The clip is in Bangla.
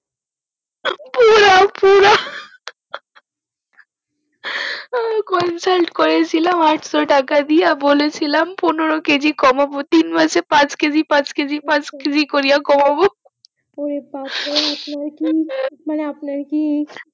আঃ consult করে ছিলাম আটশো টাকা দিয়া বলে ছিলাম পনোরো কেজি কমাবো তিন মাসে পাঁচ কেজি পাঁচ কেজি করে কমাবো ও বাপরে আপনার কি মানে আপনার কি